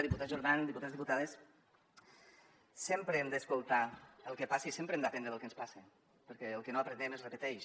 diputat jordan diputats diputades sempre hem d’escoltar el que passa i sempre hem d’aprendre de lo que ens passa perquè el que no aprenem es repeteix